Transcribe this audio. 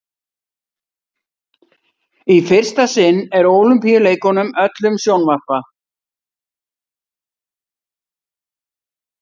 í fyrsta sinn er ólympíuleikunum öllum sjónvarpað